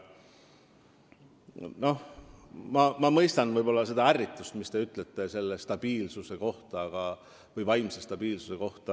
Nii et ma võib-olla mõistan ärritust ja seda, mis te ütlesite selle vaimse stabiilsuse kohta.